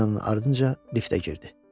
Bəs Selina-nın ardınca liftə girdi.